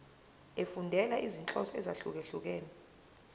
efundela izinhloso ezahlukehlukene